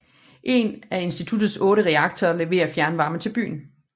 En af institutets otte reaktorer leverer fjernvarme til byen